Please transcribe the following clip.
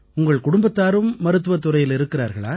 உங்கள் குடும்பத்தாரும் மருத்துவத் துறையில் இருக்கிறார்களா